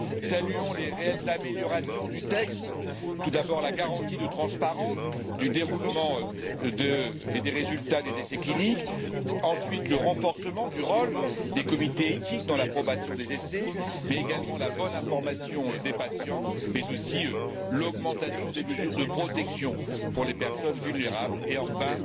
Saluons les réelles améliorations du texte tout d'abord, la garantie de transparence du déroulement et des résultats des essais cliniques, ensuite le renforcement du rôle des comités éthiques dans l'approbation des essais, mais aussi la bonne information des patients ainsi que l'augmentation des mesures de protection pour les personnes vulnérables et enfin